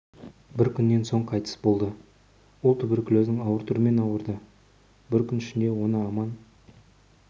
бір күннен соң қайтыс болды ол туберкулездің ауыр түрімен ауырды бір күн ішінде оны аман